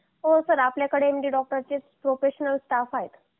हो सर आपल्याकडे एमडी डॉक्टरचे प्रोफेशनल स्टाफ आहे